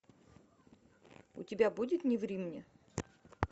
у тебя будет не ври мне